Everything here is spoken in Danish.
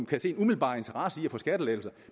kan se en umiddelbar interesse i at få skattelettelser